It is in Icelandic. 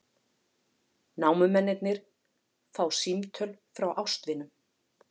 Námumennirnir fá símtöl frá ástvinum